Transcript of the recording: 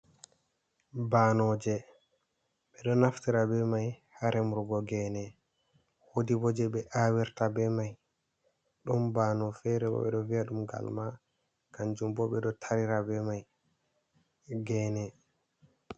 Banoje be do naftira be mai ha remugo gene, wodi je be awirta be mai dum bano fere bo be do vi’a dum galma kanjum bo be do taera be mai gene.